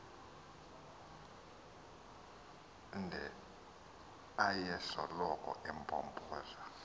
nde ayesoloko empompoza